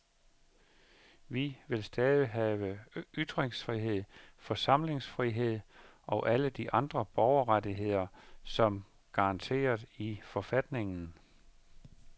Vi vil stadig have ytringsfrihed, forsamlingsfrihed og alle de andre borgerrettigheder, der er garanteret i forfatningen.